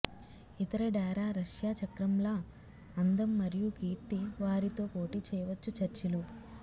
ఇతర డేరా రష్యా చక్రంలా అందం మరియు కీర్తి వారితో పోటీ చేయవచ్చు చర్చిలు